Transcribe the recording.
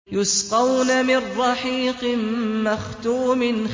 يُسْقَوْنَ مِن رَّحِيقٍ مَّخْتُومٍ